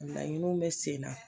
Laɲiniw bɛ sen na